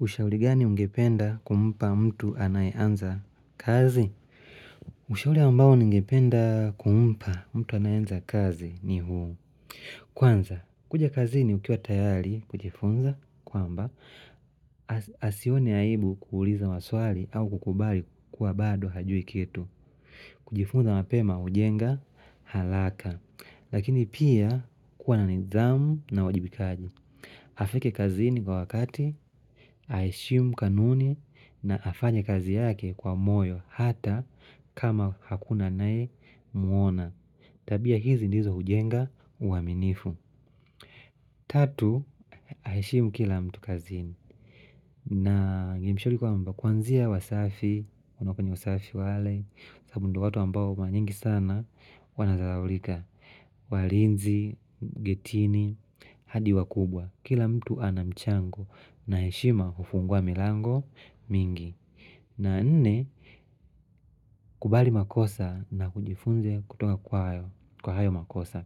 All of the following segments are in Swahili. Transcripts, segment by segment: Ushauri gani ungependa kumpa mtu anayeanza kazi? Ushauri ambao ningependa kumpa mtu anayeanza kazi ni huu. Kwanza, kuja kazini ukiwa tayari kujifunza kwamba asione aibu kuuliza maswali au kukubali kuwa bado hajui kitu. Kujifunza mapema hujenga haraka. Lakini pia kuwa na nidhamu na uwajibikaji. Afike kazini kwa wakati, aheshimu kanuni na afanye kazi yake kwa moyo hata kama hakuna anayemwona. Tabia hizi ndizo hujenga uaminifu. Tatu, aishimu kila mtu kaziini. Na ningemshauri kwamba kwanzia wasafi, ama kwenye usafi wale, sababu ndio watu ambao mara nyingi sana wanadharalika. Walinzi, getini, hadi wakubwa. Kila mtu anamchango na heshima hufungua milango mingi na nne, kubali makosa na kujifunza kutoka kwa hayo makosa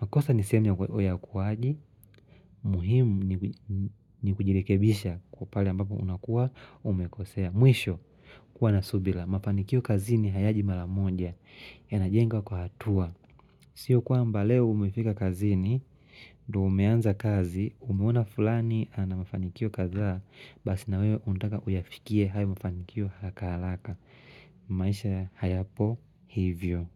makosa ni sehemu ya ukuwaji muhimu ni kujirekebisha kwa pahali ambapo unakuwa umekosea Mwisho kuwa na subira Mafanikio kazini hayaji mara moja yanajengwa kwa hatua Sio kwamba leo umefika kazini ndo umeanza kazi umeona fulani ana mafanikio kadhaa Basi na wewe unataka uyafikie hayo mafanikio harakaharaka maisha hayapo hivyo.